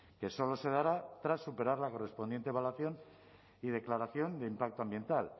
que solo se dará tras superar la correspondiente evaluación y declaración de impacto ambiental